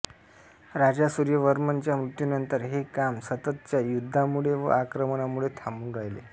राजा सूर्यवर्मनच्या मृत्यूनंतर हे काम सततच्या युद्धांमुळे व आक्रमणांमुळे थांबून राहिले